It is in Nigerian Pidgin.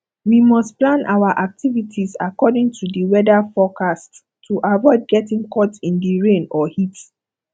we must plan our activities according to di weather forecast to aviod getting caught in di rain or heat